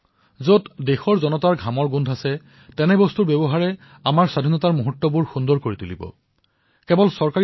আৰু এই কাম চৰকাৰীভাৱে হব নালাগে ঠায়ে ঠায়ে যুৱচাম আগুৱাই আহিব সৰু সৰু সংগঠনৰ সৃষ্টি কৰিব জনসাধাৰণক অনুপ্ৰেৰিত কৰিব বুজাব আৰু নিশ্চিত কৰিব যে আমি স্বদেশী সামগ্ৰী ক্ৰয় কৰিম